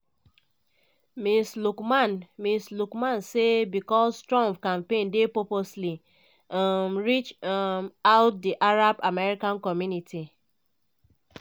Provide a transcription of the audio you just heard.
ms luqman ms luqman say becos trump campaign dey purposely um reach um out to di arab american community.